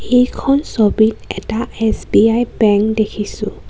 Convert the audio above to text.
এইখন ছবিত এটা এছ_বি_আই বেংক দেখিছোঁ.